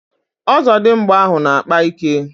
Ozodimgba ahu na-akpa ike